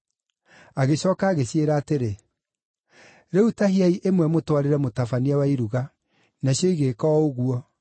Agĩcooka agĩciĩra atĩrĩ, “Rĩu tahiai ĩmwe mũtwarĩre mũtabania wa iruga.” Nacio igĩĩka o ũguo,